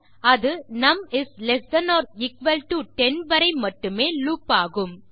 அது num is less than or equal to 10 வரை மட்டுமே லூப் ஆகும்